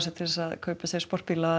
til að kaupa sér sportbíla